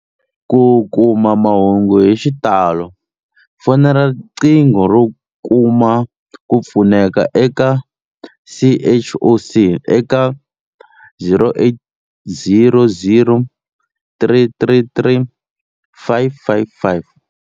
Ku kuma mahungu hi xitalo, fonela riqingho ro kuma ku pfuneka eka CHOC eka 0800 333 555.